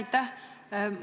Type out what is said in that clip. Aitäh!